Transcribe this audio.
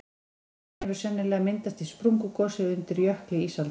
hryggurinn hefur sennilega myndast í sprungugosi undir jökli ísaldar